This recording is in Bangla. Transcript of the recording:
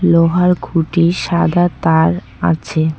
লোহার খুঁটি সাদা তার আছে।